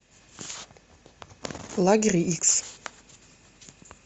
лагерь икс